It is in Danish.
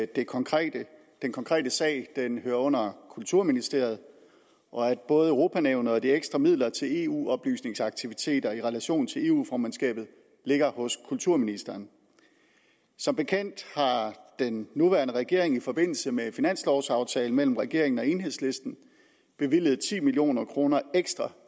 den konkrete konkrete sag hører under kulturministeriet og at både europanævnet og de ekstra midler til eu oplysnings aktiviteter i relation til eu formandskabet ligger hos kulturministeren som bekendt har den nuværende regering i forbindelse med finanslovaftalen mellem regeringen og enhedslisten bevilget ti million kroner ekstra